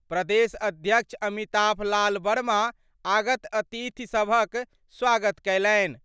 प्रदेश अध्यक्ष अमिताभ लाल वर्मा आगत अतिथि सभक स्वागत कयलनि।